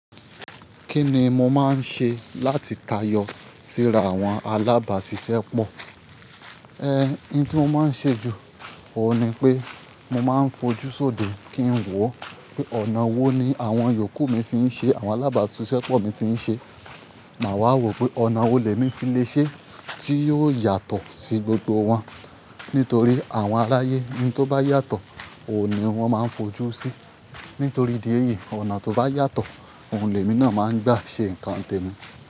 Kí ni mo máa ń ṣe láti tayọ síra àwọn alábàáṣiṣẹ́ pọ̀? Ẹ n tí mo máa ń ṣe jù, òun ni pé mo máa ń fojúṣodé kí n wọ̀ pé ọ̀nà wo ni àwọn yòókù mi ti ń ṣe àwọn alábàáṣiṣẹ́ pọ̀ mi ti ń ṣe. Màá wá wò pé ọ̀nà wo lè ní fi lè ṣe tí yóò yàtọ̀ sí gbogbo wọn. Nítorí àwọn aráyé, ohun tó bá yàtọ̀ òun ni wọ́n máa ń fojú sí. Nítorí idi èyí, ọ̀nà tó bá yàtọ̀, ohun lè mi náà máa ń gbà ṣe nǹkan tèmi.